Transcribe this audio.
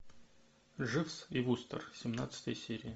дживс и вустер семнадцатая серия